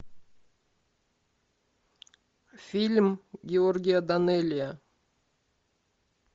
фильм георгия данелия